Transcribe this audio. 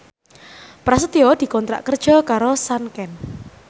Prasetyo dikontrak kerja karo Sanken